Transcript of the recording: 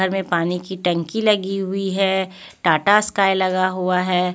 में पानी की टंकी लगी हुई है टाटा स्काई लगा हुआ है.